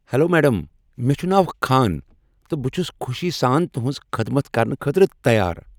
Hello madam, مےٚ چھ ناو خان تہٕ بہٕ چھس خوشی سان تہنز خدمت کرنہٕ خٲطرٕ تیار۔